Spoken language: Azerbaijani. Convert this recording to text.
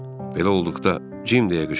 Belə olduqda, Cim deyə qışqırdım: